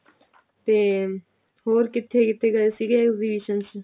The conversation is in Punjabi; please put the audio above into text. ਤੇ ਹੋਰ ਕਿੱਥੇ ਕਿੱਥੇ ਗਏ ਸੀਗੇ exhibition ਚ